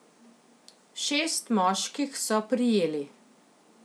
Šest moških so prijeli.